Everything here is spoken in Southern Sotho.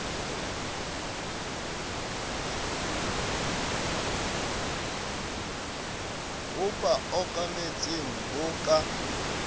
ho ba okametseng bo ka